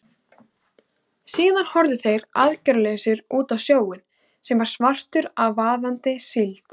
Síðan horfðu þeir aðgerðalausir út á sjóinn, sem var svartur af vaðandi síld.